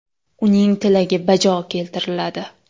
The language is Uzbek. Uning tilagi bajo keltiriladi.